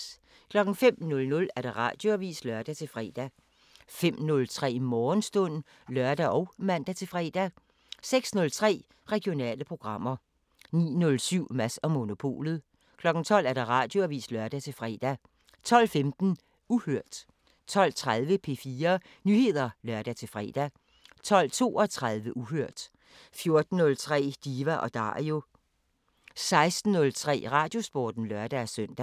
05:00: Radioavisen (lør-fre) 05:03: Morgenstund (lør og man-fre) 06:03: Regionale programmer 09:07: Mads & Monopolet 12:00: Radioavisen (lør-fre) 12:15: Uhørt 12:30: P4 Nyheder (lør-fre) 12:32: Uhørt 14:03: Diva & Dario 16:03: Radiosporten (lør-søn)